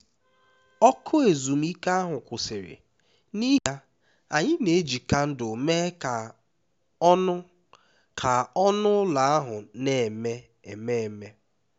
ọkụ ezumike ahụ kwụsịrị n'ihi ya anyị na-eji kandụl mee ka ọnụ ka ọnụ ụlọ ahụ na-eme ememe